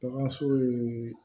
Bagan so ye